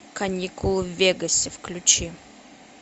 каникулы в вегасе включи